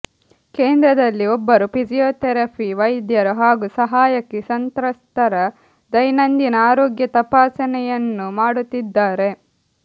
ಕೇಂದ್ರದಲ್ಲಿ ಒಬ್ಬರು ಫಿಸಿಯೋಥೆರಪಿ ವೈದ್ಯರು ಹಾಗೂ ಸಹಾಯಕಿ ಸಂತ್ರಸ್ತರ ದೈನಂದಿನ ಆರೋಗ್ಯ ತಪಾಸಣೆಯನ್ನು ಮಾಡುತ್ತಿದ್ದಾರೆ